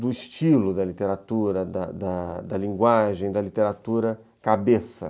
do estilo da literatura, da da linguagem, da literatura cabeça.